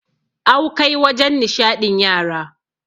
awkai wajen nishaɗin yara